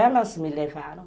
Elas me levaram.